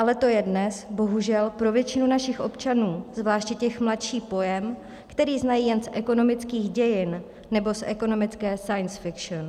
Ale to je dnes, bohužel, pro většinu našich občanů, zvláště těch mladších, pojem, který znají jen z ekonomických dějin nebo z ekonomické science fiction.